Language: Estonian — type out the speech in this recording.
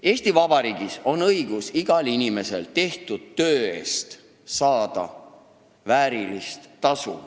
Eesti Vabariigis on igal inimesel õigus tehtud töö eest saada väärilist tasu.